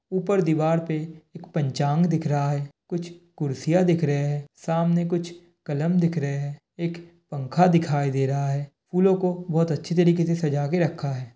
ऊपर दीवार पे एक पंचांग दिख रहा है। कुछ कुर्सिया दिख रही है। सामने कुछ कलम दिख रहे है। एक पंखा दिखाई दे रहा है। फूलों को बहुत अच्छी तरह के से सजा के रखा है।